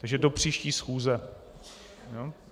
Takže do příští schůze.